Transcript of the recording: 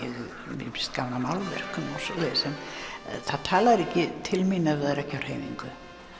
mér finnst gaman að málverkum og svoleiðis það talar ekki til mín ef það er ekki á hreyfingu